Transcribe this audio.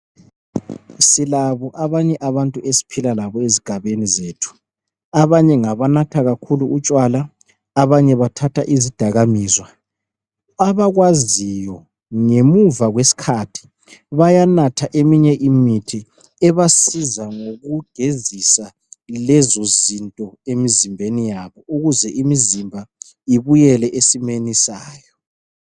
silabo abanye abantu esiphila labo ezigabeni zethu abanye ngabanatha kakhulu utshwala abanye bathatha izidakamizwa abakwaziyo ngemuva kwesikhathi bayanatha eminye imithi ebasiza ngkugezisa lezo zinto emzimbeni yabo ukuze imzimba ibuyele esimeni sayo